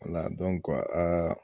wala dɔnko aa